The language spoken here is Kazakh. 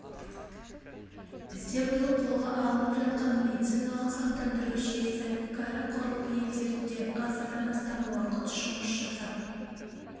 бізде биыл қолға алынып жатқан медициналық сақтандыру жүйесі кәрі құрлық елдерінде ғасырдан астам уақыт жұмыс жасап